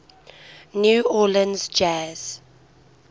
new orleans jazz